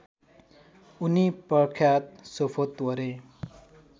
उनी प्रख्यत सोफोत्वरे